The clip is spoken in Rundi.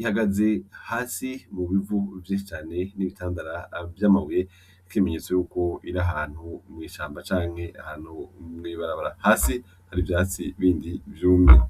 ihagaze hasi mu bivu vyinshi cane n'ibitandara vy'amabuye nk'ikimenyetso yuko iri ahantu mw'ishamba canke ahantu mw'ibarabara. Hasi hari ivyatsi bindi vyumye.